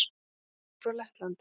Tvennt kemur frá Lettlandi.